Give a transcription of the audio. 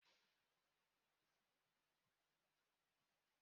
Ee, nne nne m bi n’ụlọ ndị agadi